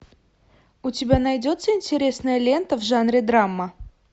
у тебя найдется интересная лента в жанре драма